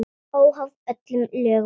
Óháð öllum lögum og reglum.